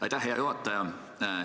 Aitäh, hea juhataja!